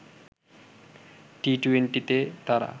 টি-২০তে তারা